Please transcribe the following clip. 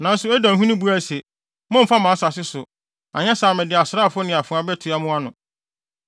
Nanso Edomhene buae se, “Mommfa mʼasase so, anyɛ saa a mede asraafo ne afoa betua mo ano!”